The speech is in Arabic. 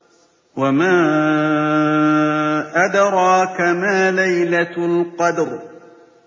وَمَا أَدْرَاكَ مَا لَيْلَةُ الْقَدْرِ